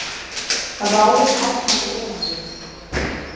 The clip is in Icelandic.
Ráðið hafnaði erindinu